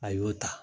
A y'o ta